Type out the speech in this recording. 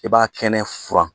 I b'a kɛnɛ furan